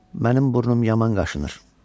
Mənim burnum yaman qaşınır.